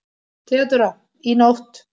THEODÓRA: Í nótt.